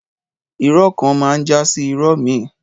Ìrọ kàn mà ń jàsi ìró mi.